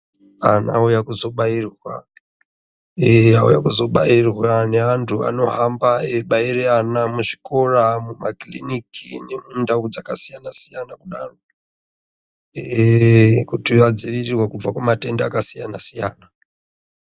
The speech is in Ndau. Antu auya kuzobairwa eya auya kuzobairwa neantu anohamba eibaira ana muzvikora makiriniki nemundau dzakasiyana siyana kudaro kuti vadzivirirwe kubva kumatenda akasiyana siyana.